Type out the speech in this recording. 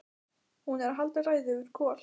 Hún er að halda ræðu yfir Kol: